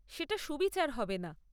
সেটা সুবিচার হবে না।